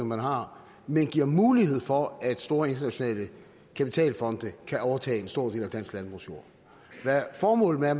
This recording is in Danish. man har men giver mulighed for at store internationale kapitalfonde kan overtage en stor del af den danske landbrugsjord hvad formålet er